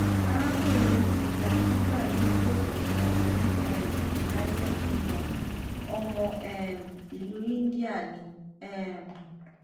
arakunrin mi ti gba gbigba ni ileèwosan ni um united kingdom ọmọ um ilu india ni um